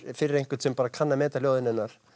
fyrir einhvern sem kann að meta ljóðin hennar